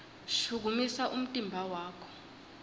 shukumisa umtimba wakho